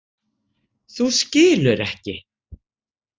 Þú skilur ekki.